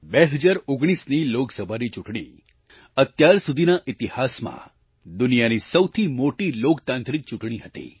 2019ની લોકસભાની ચૂંટણી અત્યાર સુધીના ઈતિહાસમાં દુનિયાની સૌથી મોટી લોકતાંત્રિક ચૂંટણી હતી